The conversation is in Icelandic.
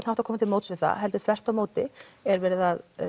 hátt að koma til móts við það heldur þvert á móti er verið að